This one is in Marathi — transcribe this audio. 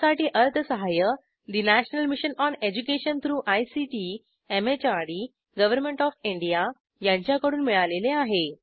यासाठी अर्थसहाय्य national mission on education through ICT MHRD government of India यांच्याकडून मिळालेले आहे